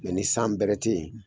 Mɛ ni san bɛrɛ tɛ yen.